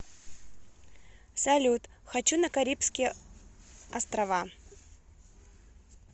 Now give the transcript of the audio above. салют хочу на карибские острава